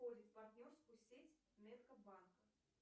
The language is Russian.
входит в партнерскую сеть меткомбанка